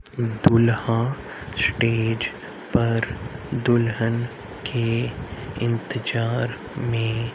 दुल्हा स्टेज पर दुल्हन के इंतजार में--